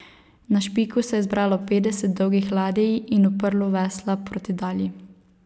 Na Špiku se je zbralo petdeset dolgih ladij in uprlo vesla proti Dalji.